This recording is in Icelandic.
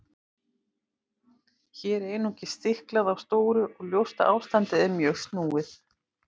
Hér er einungis stiklað á stóru og ljóst að ástandið er mjög snúið.